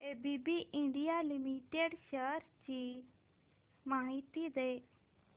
ABB India limited shares ची माहिती दे